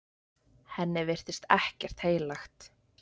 Henni virtist ekkert heilagt.